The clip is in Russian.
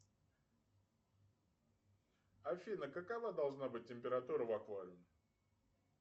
афина какова должна быть температура в аквариуме